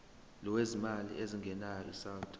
lwezimali ezingenayo isouth